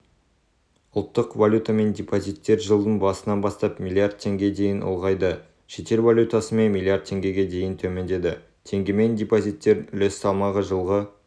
ұлттық валютамен депозиттер жылдың басынан бастап млрд теңге дейін ұлғайды шетел валютасымен млрд теңгеге дейін төмендеді теңгемен депозиттердің үлес салмағы жылғы